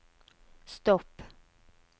stopp